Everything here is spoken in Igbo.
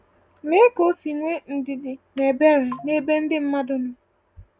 Lea ka o si nwee ndidi na ebere n’ebe ndị mmadụ nọ.